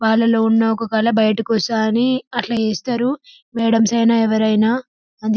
వాళ్ళలో ఉన్న ఒక కళ బయిటికి వస్తది అని అట్లా చేస్తారు మేడంస్ అయిన ఎవరైనా అందు --